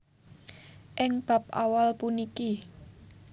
Ing bab awal puniki